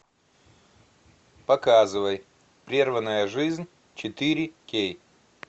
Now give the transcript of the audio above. показывай прерванная жизнь четыре кей